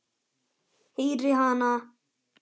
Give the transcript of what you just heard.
Heyri hana.